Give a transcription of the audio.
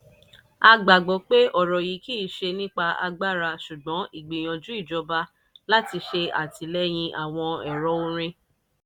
a gbagbọ́ pé ọ̀rọ̀ yìí kìí ṣe nípa agbára ṣùgbọ́n ìgbìyànjú ìjọba láti ṣe àtìlẹ́yìn àwọn ẹ̀rọ̀ orin.